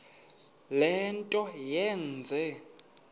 le nto yenze